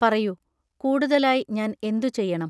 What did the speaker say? പറയൂ, കൂടുതലായി ഞാൻ എന്തു ചെയ്യണം?